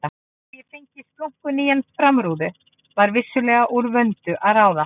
Þó ég fengi splunkunýja framrúðu var vissulega úr vöndu að ráða.